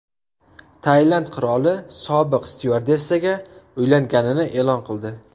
Tailand qiroli sobiq styuardessaga uylanganini e’lon qildi.